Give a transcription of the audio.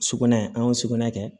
Sugunɛ an y'o sugunɛ kɛ